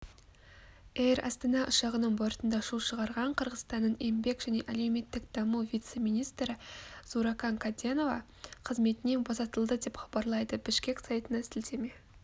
эйр астана ұшағының бортында шу шығарған қырғызстанның еңбек және әлеуметтік даму вице-министрі зууракан каденова қызметінен босатылды деп хабарлайды бишкек сайтына сілтеме